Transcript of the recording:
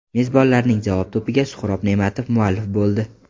Mezbonlarning javob to‘piga Suhrob Ne’matov muallif bo‘ldi.